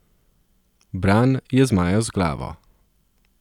Bran je zmajal z glavo.